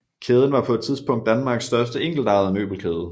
Kæden var på et tidspunkt Danmarks største enkeltejede møbelkæde